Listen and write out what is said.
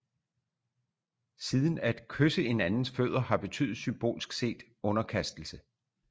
Siden at kysse en andens fødder har betydet symbolsk set underkastelse